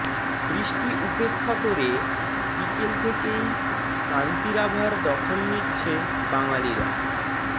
বৃষ্টি উপেক্ষা করে বিকেল থেকেই কান্তিরাভার দখল নিচ্ছে বাঙালিরা